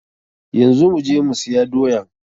Yanzu mu je mu siya doya.